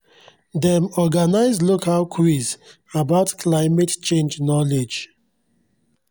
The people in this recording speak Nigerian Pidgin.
dem organise local quiz about climate change knowledge